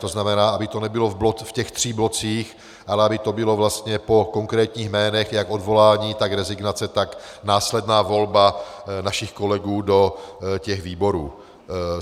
To znamená, aby to nebylo v těch třech blocích, ale aby to bylo vlastně po konkrétních jménech, jak odvolání, tak rezignace, tak následná volba našich kolegů do těch výborů.